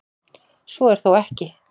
Svo er þó ekki.